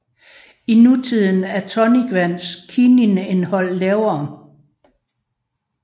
I nutiden er tonicvands kininindhold lavere